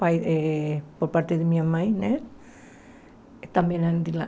Por eh por parte de minha mãe né, também eram de lá.